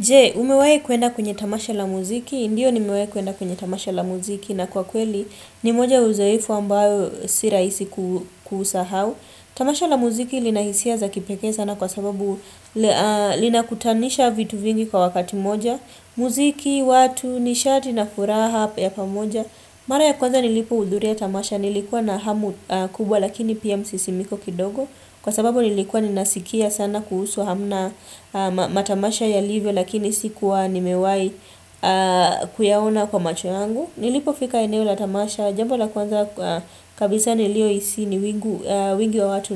Je, umewahi kuenda kwenye tamasha la muziki? Ndiyo nimewahi kuenda kwenye tamasha la muziki na kwa kweli ni moja ya uzoefu ambayo si rahisi kusahau. Tamasha la muziki lina hisia za kipekee sana kwa sababu linakutanisha vitu vingi kwa wakati moja. Muziki, watu, nishati na furaha ya pamoja. Mara ya kwanza nilipohudhuri tamasha nilikuwa na hamu kubwa lakini pia msisimiko kidogo. Kwa sababu nilikuwa ninasikia sana kuhusu hamna matamasha yalivyo lakini sikuwa nimewai kuyaona kwa macho yangu. Nilipofika eneo la tamasha, jambo la kwanza kabisa niliohisi ni wingi wa watu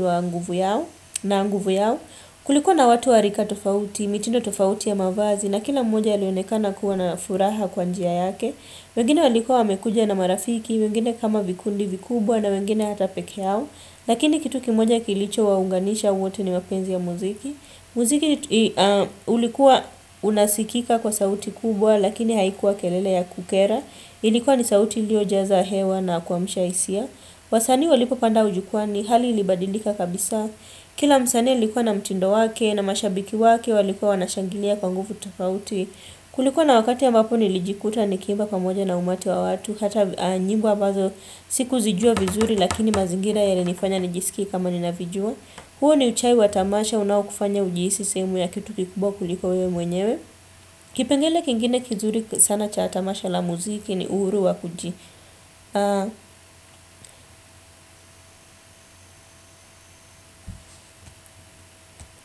na nguvu yao. Kulikuwa na watu wa rika tofauti, mitindo tofauti ya mavazi na kila mmoja alionekana kuwa na furaha kwa njia yake. Wengine walikuwa wamekuja na marafiki, wengine kama vikundi vikubwa na wengine hata peke yao. Lakini kitu kimoja kilichowaunganisha wote ni mapenzi ya muziki. Muziki ulikuwa unasikika kwa sauti kubwa lakini haikuwa kelele ya kukera. Ilikuwa ni sauti iliojaza hewa na kuamsha hisia Wasani walipopanda ujukwani hali ilibadilika kabisa. Kila msanii alikuwa na mtindo wake na mashabiki wake walikuwa wanashangilia kwa nguvu tofauti Kulikuwa na wakati ambapo nilijikuta nikiimba pamoja na umati wa watu hata nyimbo ambazo sikuzijua vizuri lakini mazingira yalinifanya nijisike kama ninavijua. Huo ni uchawi wa tamasha unaokufanya ujihisi sehemu ya kitu kikubwa kuliko wewe mwenyewe kipengele kingine kizuri sana cha tamasha la muziki ni uhuru wa kuji.